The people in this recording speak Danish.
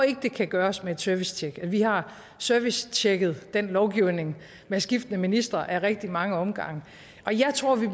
det kan gøres med et servicetjek vi har servicetjekket den lovgivning med skiftende ministre ad rigtig mange omgange og jeg tror vi